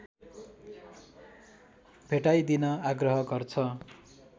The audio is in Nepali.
भेटाइदिन आग्रह गर्छ